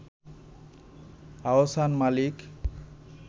Ahsan Malik